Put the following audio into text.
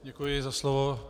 Děkuji za slovo.